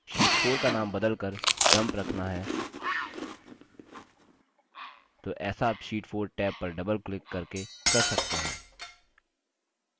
अब उदाहरण के लिए sheet 4 का now बदलकर dump रखना है तो ऐसा आप sheet 4 टैब पर double क्लिक करके कर सकते हैं